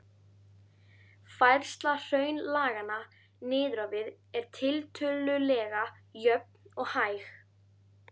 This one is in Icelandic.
Færsla hraunlaganna niður á við er tiltölulega jöfn og hæg.